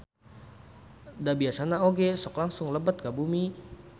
Da biasana oge sok langsung lebet ka bumi.